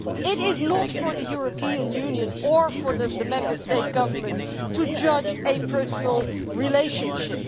It is not for the European Union or for the Member State governments to judge a personal relationship.